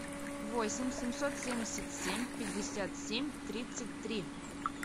восемь семьсот семьдесят семь пятьдесят семь тридцать три